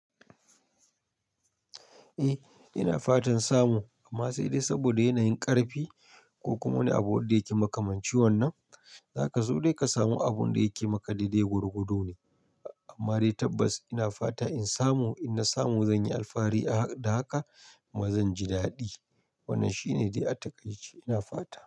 Eh ina fatan samu amma sai dai saboda yanayin ƙarfi ko kuma wani abu wanda yake makamanci wannan, za ka zo dai ka samu abun da yake maka daidai gwargwado ne. Amma dai tabbas ina fata in samu, in na samu zan yi alfari da haka kuma zan ji dadi. Wannan shine dai a takaice ina fata.